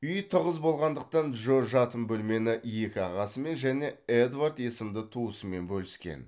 үй тығыз болғандықтан джо жатын бөлмені екі ағасымен және эдвард есімді туысымен бөліскен